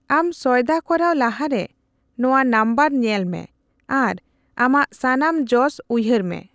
ᱟᱢ ᱥᱚᱭᱫᱟ ᱠᱚᱨᱟᱣ ᱞᱟᱦᱟᱨᱮ, ᱱᱚᱣᱟ ᱱᱟᱢᱵᱟᱨ ᱧᱮᱞᱢᱮ ᱟᱨ ᱟᱢᱟᱜ ᱥᱟᱱᱟᱢ ᱡᱚᱥ ᱩᱭᱦᱟᱹᱨ ᱢᱮ ᱾